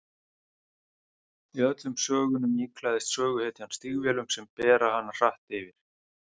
Í öllum sögunum íklæðist söguhetjan stígvélum sem bera hana hratt yfir.